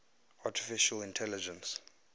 artificial intelligence